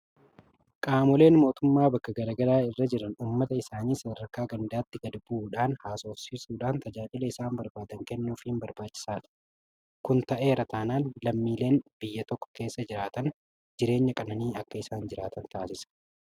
Qaamoleen mootummaa bakka garaa garaa irra jiran uummata isaanii sadarkaa gandaatti gadbu'uudhaan haasofsiisuudhaan, tajaajila isaan barbaadan kennuufiin barbaachisaadha. Kun ta'eera taanaan lammiileen biyya tokko keessa jiraatan jireenya qananii akka isaan jiraatan taasisa.